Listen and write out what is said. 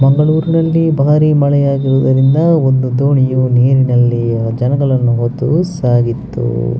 ಮಂಗಳೂರ್ ನಲ್ಲಿ ಬಾರಿ ಮಳೆ ಆಗುವುದರಿಂದ ಒಂದು ದೋಣಿಯು ನೀರಿನಲ್ಲಿ ಇರುವ ಜನಗಳನ್ನು ಹೊತ್ತು ಸಾಗಿತ್ತು --